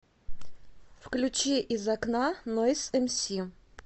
включи из окна нойз эмси